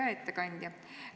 Hea ettekandja!